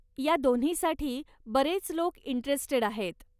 या दोन्हीसाठी बरेच लोक इंटरेस्टेड आहेत.